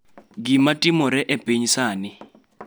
Gima timore e piny sani